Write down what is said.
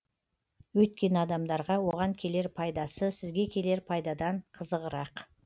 өйткені адамдарға оған келер пайдасы сізге келер пайдадан қызығырақ